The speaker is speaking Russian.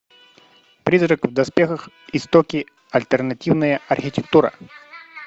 призрак в доспехах истоки альтернативная архитектура